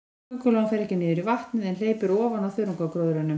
Köngulóin fer ekki niður í vatnið, en hleypur ofan á þörungagróðrinum.